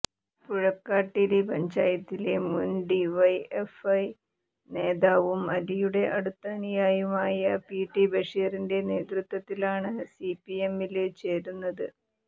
പുഴക്കാട്ടിരി പഞ്ചായത്തിലെ മുന് ഡിവൈഎഫ്ഐ നേതാവും അലിയുടെ അടുത്ത അനുയായിയുമായ പിടി ബഷീറിന്റെ നേതൃത്വത്തിലാണ് സിപിഎമ്മില് ചേരുന്നത്